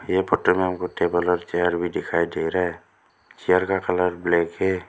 ये फोटो में हमको टेबल और चेयर भी दिखाई दे रहा है चेयर का कलर ब्लैक --